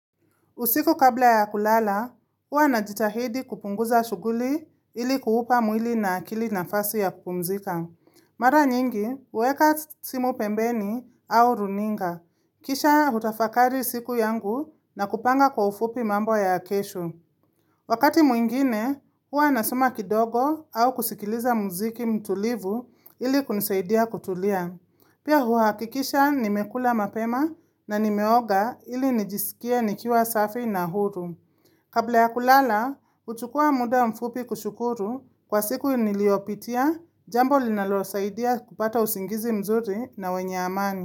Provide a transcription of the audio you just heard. Usiku kabla ya kulala, hua na jitahidi kupunguza shuguli ili kuupa mwili na akili na fasi ya kupumzika. Mara nyingi, uweka simu pembeni au runinga. Kisha hutafakari siku yangu na kupanga kwa ufupi mambo ya kesho. Wakati mwingine, hua nasoma kidogo au kusikiliza muziki mtulivu ili kunisaidia kutulia. Pia huhakikisha nimekula mapema na nimeoga ili nijisikia nikiwa safi na huru. Kabla ya kulala, uchukua muda mfupi kushukuru kwa siku niliopitia, jambo linaloosaidia kupata usingizi mzuri na wenye amani.